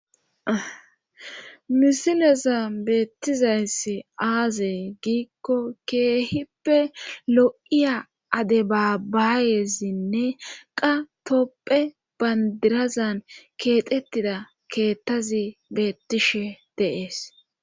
misileza beettizayssi aaze giikko keehippe lo7iya ade babaayezinne qa topphe bandirazan keexettida keettazi beettishe de'es